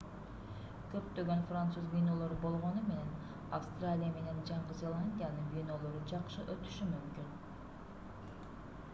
көптөгөн француз винолору болгону менен австралия менен жаңы зеландиянын винолору жакшы өтүшү мүмкүн